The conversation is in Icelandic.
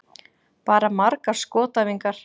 Bara margar skotæfingar.